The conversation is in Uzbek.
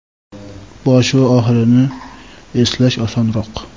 Boshi va oxirini eslash osonroq.